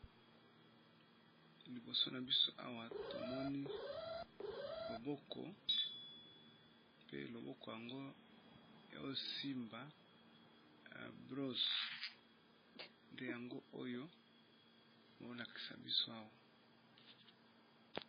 Liboso nabiso awa tozo mona loboko pe loboko yango ezo simba broso nde yango tozomona awa